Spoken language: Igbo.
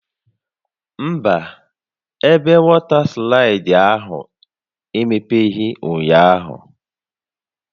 Mba, ebe wọta slaịdị ahụ emepeghị ụnyaahụ